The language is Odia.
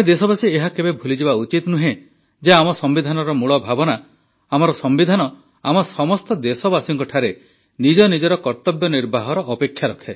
ଆମେ ଦେଶବାସୀ ଏହା କେବେ ଭୁଲିଯିବା ଉଚିତ ନୁହେଁ ଯେ ଆମ ସମ୍ବିଧାନର ମୂଳ ଭାବନା ଆମର ସମ୍ବିଧାନ ଆମ ସମସ୍ତ ଦେଶବାସୀଙ୍କଠାରେ ନିଜ ନିଜର କର୍ତବ୍ୟ ନିର୍ବାହର ଅପେକ୍ଷା ରଖେ